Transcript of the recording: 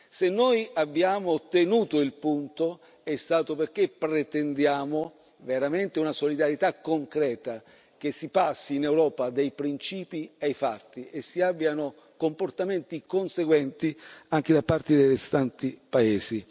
Se noi abbiamo tenuto il punto, è stato perché pretendiamo veramente una solidarietà concreta, che si passi in Europa dai principi ai fatti e si abbiano comportamenti conseguenti anche da parte dei restanti paesi.